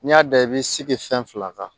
N'i y'a da i b'i sigi fɛn fila kan